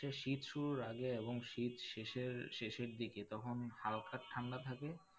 শীত শুরুর আগে এবং শীত শেষের আহ শেষের দিকে তখন হালকা ঠান্ডা থাকে,